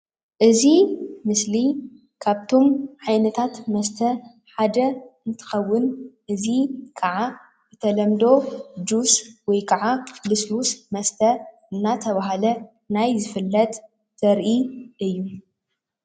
እዚ ምስሊ ካብቶም ዓይነታት መስተ ሓደ እንትከውን እዚ ከዓ ብተለምዶ ጁስ ወይ ከዓ ሉሱሉስ መስተ እናተባህለ ናይ ዝፍለጥ ዘርኢ እዩ፡፡